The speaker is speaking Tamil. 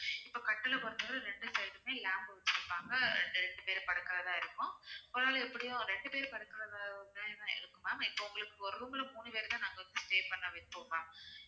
இப்ப கட்டிலை பொறுத்தவரை ரெண்டு side மே lamp வெச்சிருப்பாங்க இது ரெண்டு பேரு படுக்கிறதா இருக்கும் ஒரு ஆளு எப்படியும் ரெண்டு பேரு படுக்கிறதா இருக்கும் ma'am இப்ப உங்களுக்கு ஒரு room ல மூணு பேருமே நாங்க வந்து stay பண்ண வைப்போம் ma'am